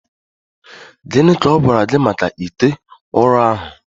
Gịnị ka ọ gwara gị maka ite ụrọ ahụ